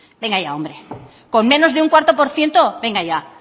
venga ya hombre con menos de cuatro por ciento venga ya